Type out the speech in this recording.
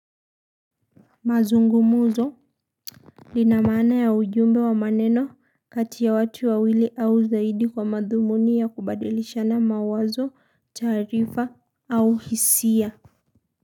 Mazungumuzo lina mana ya ujumbe wa maneno kati ya watu wawili au zaidi kwa madhumuni ya kubadilishana mawazo taarifa au hisia.